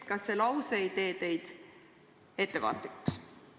" Kas see lause ei tee teid ettevaatlikuks?